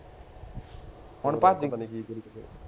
ਹੁਣ